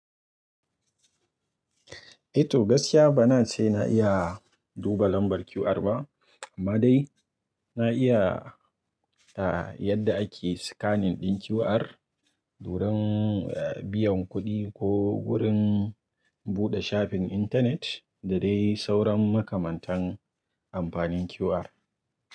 Eh to gaskiya bana ce na iya duba lambar QR ba, amma dai na iya, yadda ake scanning ɗin QR, wurin biyan kuɗi ko wurin buɗe shafin intanet da dai sauran makamantan amfanin QR.